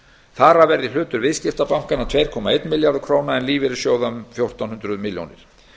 þar af verði hlutur viðskiptabankanna tvö komma einn milljarður króna en lífeyrissjóða um fjórtán hundruð milljónir